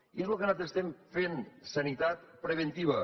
i és lo que nosaltres estem fent sanitat preventiva